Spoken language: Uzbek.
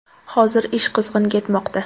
Hozir ish qizg‘in ketmoqda.